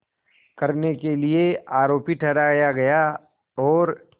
करने के लिए आरोपी ठहराया गया और